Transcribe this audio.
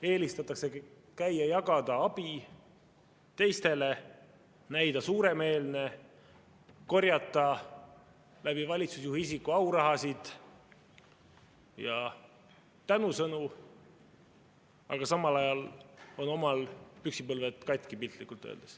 Eelistatakse käia ja jagada abi teistele, näida suuremeelne, korjata valitsusjuhi isiku abil aurahasid ja tänusõnu, aga samal ajal on omal püksipõlved katki, piltlikult öeldes.